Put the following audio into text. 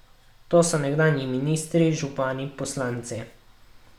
To so nekdanji ministri, župani, poslanci...